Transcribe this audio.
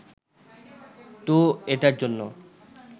তো এটার জন্য